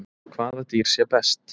Hvaða dýr sér best?